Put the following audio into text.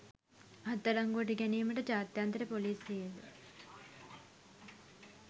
අත්අඩංගුවට ගැනීමට ජාත්‍යන්තර පොලිසියේද